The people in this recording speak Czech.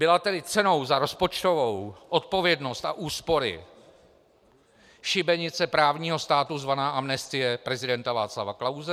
Byla tedy cenou za rozpočtovou odpovědnost a úspory šibenice právního státu, zvaná amnestie prezidenta Václava Klause?